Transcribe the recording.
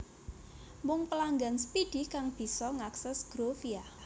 Mung pelanggan Speedy kang bisa ngakses Groovia